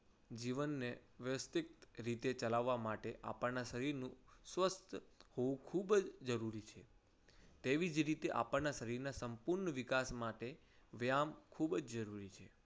જીવનને વ્યવસ્થિત રીતે ચલાવવા માટે આપણના શરીરનું સ્વસ્થ હોવું ખૂબ જ જરૂરી છે. એવી જ રીતે આપણના શરીરને સંપૂર્ણ વિકાસ માટે વ્યાયામ ખૂબ જ જરૂરી છે.